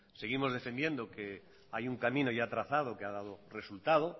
seguimos defendiendo que hay un camino ya trazado que ha dado resultado